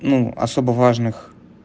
ну особо важных